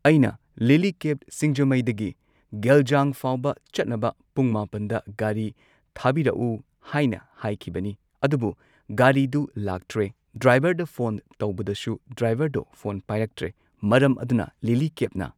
ꯑꯩꯅ ꯂꯤꯂꯤ ꯀꯦꯕ ꯁꯤꯡꯖꯃꯩꯗꯒꯤ ꯒꯦꯜꯖꯥꯡꯐꯥꯎꯕ ꯆꯠꯅꯕ ꯄꯨꯡ ꯃꯥꯄꯟꯗ ꯒꯥꯔꯤ ꯊꯥꯕꯤꯔꯛꯎ ꯍꯥꯏꯅ ꯍꯥꯢꯈꯤꯕꯅꯤ ꯑꯗꯨꯕꯨ ꯒꯥꯔꯤꯗꯨ ꯂꯥꯛꯇ꯭ꯔꯦ ꯗꯥꯏꯕꯔꯗ ꯐꯣꯟ ꯇꯧꯕꯗꯁꯨ ꯗ꯭ꯔꯥꯢꯚꯔꯗ ꯐꯣꯟ ꯄꯥꯏꯔꯛꯇ꯭ꯔꯦ ꯃꯔꯝ ꯑꯗꯨꯅ ꯂꯤꯂꯤ ꯀꯦꯞꯅ